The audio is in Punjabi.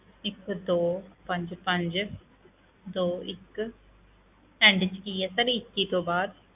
ਇੱਕ ਦੋ ਪੰਜ ਪੰਜ ਦੋ ਇੱਕ end ਵਿੱਚ ਕੀ ਹੈ sir ਇੱਕੀ ਤੋਂ ਬਾਅਦ?